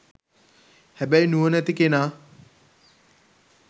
හැබැයි නුවණැති කෙනා